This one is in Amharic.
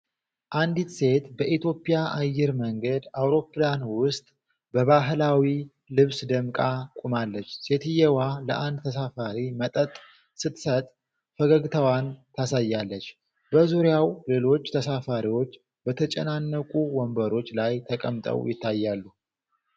አንዲት ሴት በኢትዮጵያ አየር መንገድ አውሮፕላን ውስጥ በባህላዊ ልብስ ደምቃ ቆማለች። ሴትየዋ ለአንድ ተሳፋሪ መጠጥ ስትሰጥ ፈገግታዋን ታሳያለች። በዙሪያው ሌሎች ተሳፋሪዎች በተጨናነቁ ወንበሮች ላይ ተቀምጠው ይታያሉ።